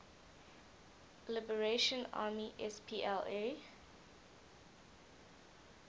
liberation army spla